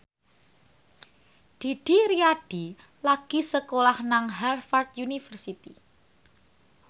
Didi Riyadi lagi sekolah nang Harvard university